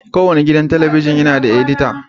Kowane gidan talabijin yana da edita.